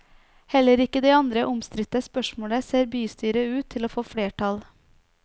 Heller ikke i det andre omstridte spørsmålet ser bystyret ut til å få flertall.